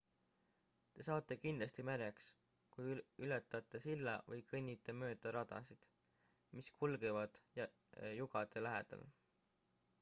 te saate kindlasti märjaks kui ületate silla või kõnnite mööda radasid mis kulgevad jugade lähedal